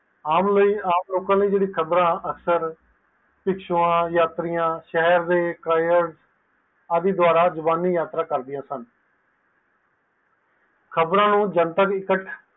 ਆਮ ਲੋਕ ਲਈ ਜੇਰੀ ਖ਼ਬਰ ਯਾਤੀਰਾਂ ਸ਼ਹਿਰ ਲਈ ਕਾਇਰ ਦੁਆਰਾ ਆਦਿ ਯਾਤਰਾ ਕਰਦਿਆਂ ਹਨ